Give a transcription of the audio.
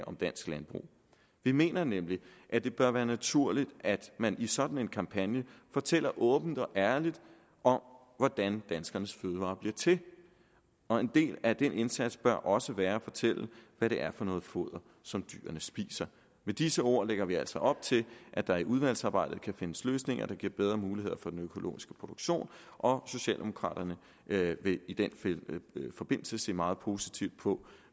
om dansk landbrug vi mener nemlig at det bør være naturligt at man i sådan en kampagne fortæller åbent og ærligt om hvordan danskernes fødevarer bliver til og en del af den indsats bør også være at fortælle hvad det er for noget foder som dyrene spiser med disse ord lægger vi altså op til at der i udvalgsarbejdet kan findes løsninger der giver bedre muligheder for den økologiske produktion og socialdemokraterne vil i den forbindelse se meget positivt på